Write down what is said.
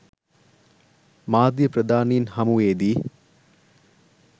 මාධ්‍ය ප්‍රධානීන් හමුවේදී